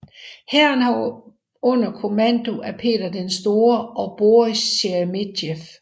Hæren var under kommando af Peter den Store og Boris Sheremetev